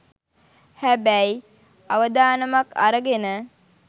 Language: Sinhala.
හැබැයි අවදානමක් අරගෙන